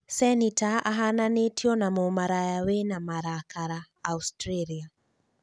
cenĩta ahananĩtio na "mũmaraya wĩna marakara" Australia